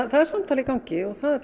það er samtal í gangi og það er